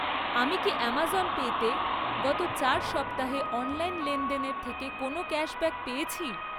আমি কি আমাজন পেতে গত চার সপ্তাহে অনলাইন লেনদেন থেকে কোনও ক্যাশব্যাক পেয়েছি?